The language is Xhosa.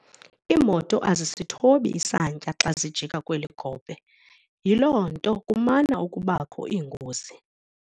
Iimoto azisithobi isantya xa zijika kweli gophe yiloo nto kumana ukubakho iingozi.